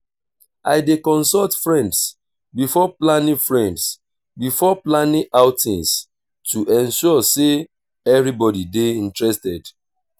i dey consult friends before planning friends before planning outings to ensure sey everybody dey interested.